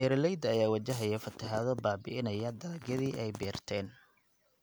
Beeraleyda ayaa wajahaya fatahaado baabi�inaya dalagyadii ay beerteen.